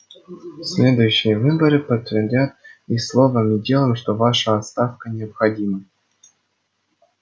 следующие выборы подтвердят и словом и делом что ваша отставка необходима